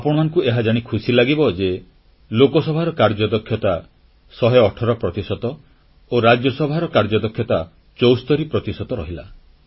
ଆପଣମାନଙ୍କୁ ଏହା ଜାଣି ଖୁସିଲାଗିବ ଯେ ଲୋକସଭାର କାର୍ଯ୍ୟଦକ୍ଷତା 118 ପ୍ରତିଶତ ଓ ରାଜ୍ୟସଭାର କାର୍ଯ୍ୟଦକ୍ଷତା 74 ପ୍ରତିଶତ ରହିଲା